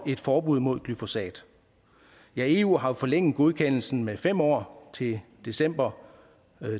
et forbud mod glyfosat ja eu har jo forlænget godkendelsen med fem år til december